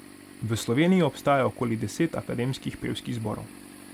V Sloveniji obstaja okoli deset akademskih pevskih zborov.